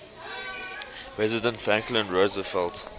president franklin roosevelt